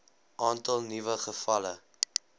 aantal nuwe gevalle